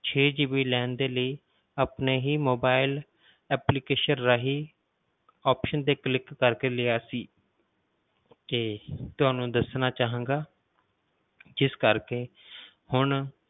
ਛੇ GB ਲੈਣ ਦੇ ਲਈ ਆਪਣੇ ਹੀ mobile application ਦੇ ਰਾਹੀਂ option ਤੇ click ਕਰਕੇ ਲਿਆ ਸੀ ਤੇ ਤੁਹਾਨੂੰ ਦੱਸਣਾ ਚਾਹਾਂਗਾ ਜਿਸ ਕਰਕੇ ਹੁਣ